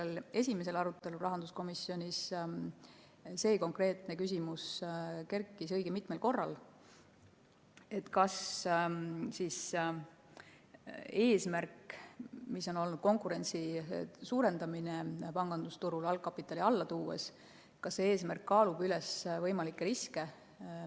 Ka sellel esimesel rahanduskomisjoni arutelul kerkis see konkreetne küsimus õige mitmel korral: kas eesmärk suurendada pangandusturul konkurentsi, leevendades algkapitalinõuet, kaalub üles võimalikud riskid?